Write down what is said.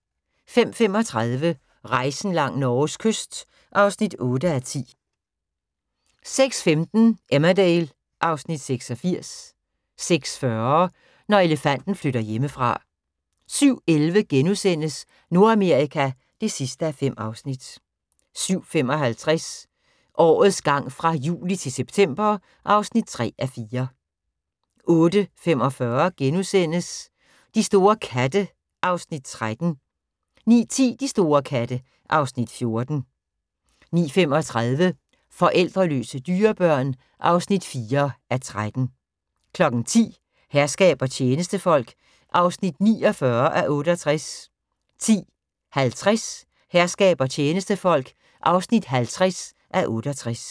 05:35: Rejsen langs Norges kyst (8:10) 06:15: Emmerdale (Afs. 86) 06:40: Når elefanten flytter hjemmefra 07:11: Nordamerika (5:5)* 07:55: Årets gang fra juli til september (3:4) 08:45: De store katte (Afs. 13)* 09:10: De store katte (Afs. 14) 09:35: Forældreløse dyrebørn (4:13) 10:00: Herskab og tjenestefolk (49:68) 10:50: Herskab og tjenestefolk (50:68)